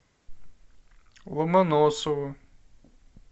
ломоносову